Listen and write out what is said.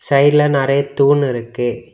சைடுல நெறைய தூண் இருக்கு.